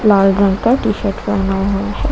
लाल रंग का T shirt पहना हुआ है।